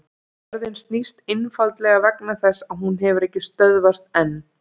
Jörðin snýst einfaldlega vegna þess að hún hefur ekki stöðvast enn!